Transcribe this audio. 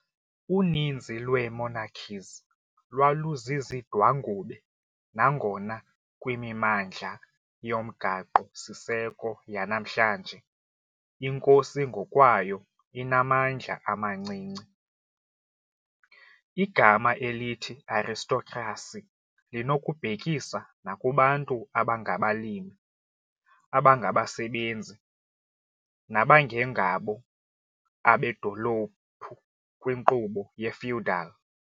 Uninzi lwee monarchies lwaluzizidwangube, nangona kwimimandla yomgaqo-siseko yanamhlanje inkosi ngokwayo inamandla amancinci. Igama elithi "aristocracy" linokubhekisa nakubantu abangabalimi, abangabasebenzi, nabangengabo abedolophu kwinkqubo ye-feudal .